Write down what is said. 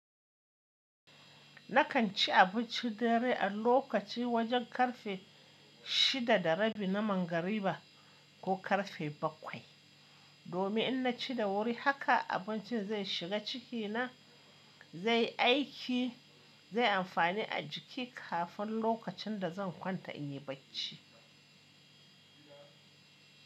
Nakan ci abinci dare a lokaci wajen karfe shidda da rabi na manghariba ko karfe bakwai. Domin in ci da wuri, haka abincin zai shiga cikina zai aiki, zai amfane a jiki kafin lokacin da zan kwanta in yi bacci.